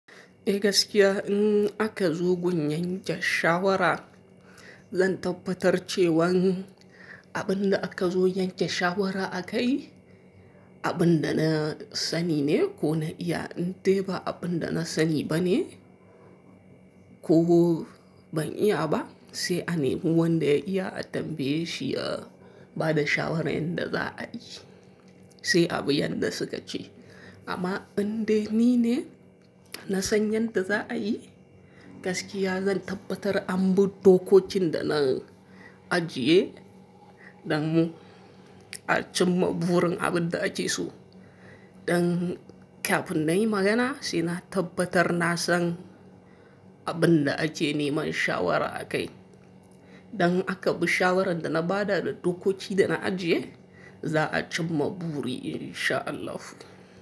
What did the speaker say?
Eh gaskiya in aka zo gun yanke shawara, zan tabbatar cewan abin da aka zo yanke shawara akai, abin da na sani ne ko na iya. In dai ba abin da na sani bane ko ban iya ba, sai a nemi wanda ya iya a tambaye shi a ba da shawarar yanda za a yi, sai abu yadda suka ce. Amma indai ni ne nasan yanda zaaiyi gaskiya zan tabbatar anbi dokokin da zan ajjiye dan a cimma burin abin da ake so. Dan kafin na yi magana, sai na tabbatar na san abin da ake neman shawara a kai. Dan aka bi shawarar da na bada da dokoki da na ajiye, za a cimma buri in sha Allah.